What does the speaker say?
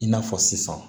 I n'a fɔ sisan